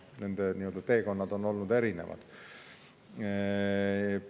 Nende teekonnad on olnud erinevad.